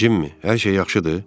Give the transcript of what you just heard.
Cimmi, hər şey yaxşıdır?